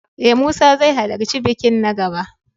E, Musa zai halarci bikin na gaba.